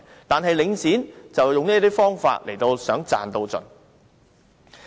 但是，領展則用這些方法賺到盡。